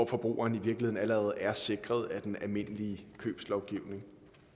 forbrugeren i virkeligheden allerede er sikret af den almindelige købslovgivning